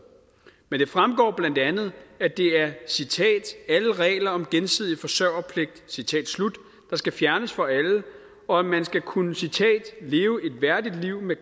men det fremgår blandt andet at det er alle regler om gensidig forsørgerpligt der skal fjernes for alle og at man skal kunne leve et værdigt liv med